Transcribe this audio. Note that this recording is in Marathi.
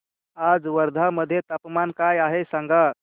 आज वर्धा मध्ये तापमान काय आहे सांगा